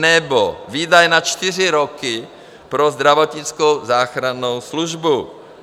Nebo výdaje na čtyři roky pro zdravotnickou záchrannou službu.